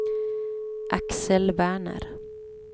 Axel Werner